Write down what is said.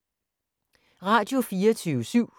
Radio24syv